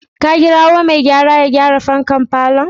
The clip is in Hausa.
Ka kirawo mai gyara ya gyara fankar falonka?